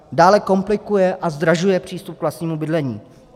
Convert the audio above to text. Dále komplikuje a zdražuje přístup k vlastnímu bydlení.